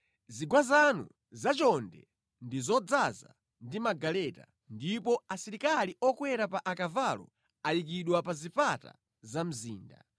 Zigwa zanu zachonde ndi zodzaza ndi magaleta, ndipo asilikali okwera pa akavalo ayikidwa pa zipata za mzinda;